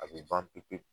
A bɛ ban pewu pewu